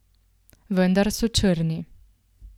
Vendar so črni.